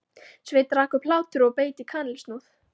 Sveinn rak upp hlátur og beit í kanilsnúð.